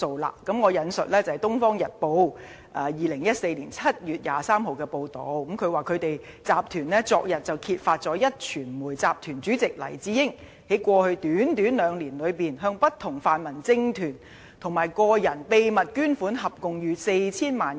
讓我引述《東方日報》於2014年7月23日的報道，當中指"集團昨日揭發壹傳媒集團主席黎智英，在過去短短兩年多內，向不同泛民政團及個人秘密捐款合共逾 4,000 萬元。